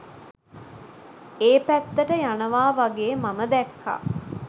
ඒ පැත්තට යනවා වගේ මම දැක්කා.